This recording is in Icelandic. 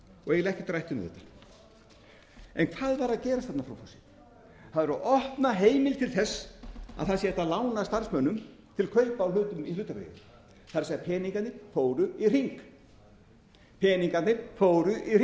og eiginlega ekkert rætt um þetta en hvað var að gerast þarna frú forseti það var verið að opna heimild til þess að hægt sé að lána starfsmönnum til kaupa á hlutum í hlutabréfum það er peningarnir fóru